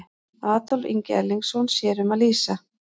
Adolf Ingi Erlingsson sér um að lýsa.